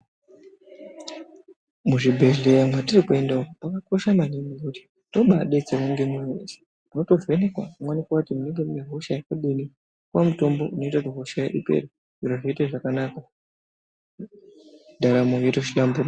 Muzvibhedhleya mwatiri kuenda umwu munokosha maningi ngekuti tobaabetserwa ngemwoyo weshe mweivhenekwa kuti munenge mune hosha yakadini zvinoita kuti hosha ipere zveitofamba zvakanaka ndaramo yeito hlamburika.